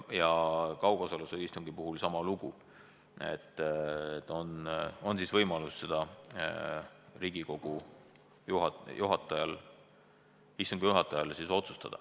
Kaugosalusega istungi puhul on sama lugu ja sel juhul Riigikogu istungi juhatajal tuleb otsustada.